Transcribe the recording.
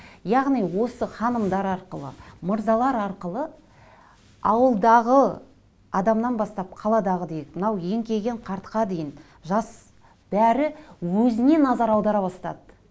яғни осы ханымдар арқылы мырзалар арқылы ауылдағы адамнан бастап қаладағы делік мынау еңкейген қартқа дейін жас бәрі өзіне назар аудара бастады